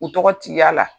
U tɔgɔ t'a la